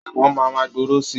Ẹ̀wọ̀n máa ma gbòòrò sii